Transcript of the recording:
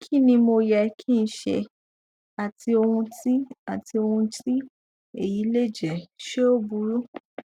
kí ni mo yẹ kí n ṣe àti ohun tí àti ohun tí èyí lè jẹ ṣe ó burú